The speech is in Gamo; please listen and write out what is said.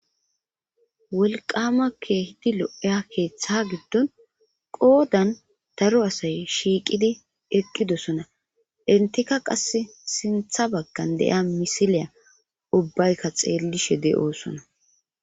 Wolqamakkehidi lo'eya keeththa giddon qoodan taru asay shiiqidi eqqidosona intika qass sintha baggan de'ia misiliya ubbaykka xeellishe de'oosona.